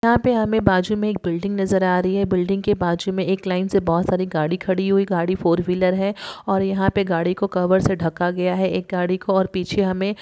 यहाँ पे हमें बाजु में एक बिल्डिंग नजर आ रही है बिल्डिंग के बाजु में एक लाइन से बहोत सारी गाड़ी खड़ी हुई गाड़ी फोर-व्हीलर है और यहाँ पे गाड़ी को कवर से ढका गया है एक गाड़ी को और पीछे हमें--